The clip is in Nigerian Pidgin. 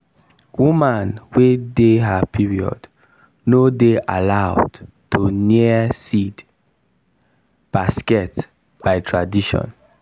woman wey dey her period no dey allowed to near seed basket by tradition.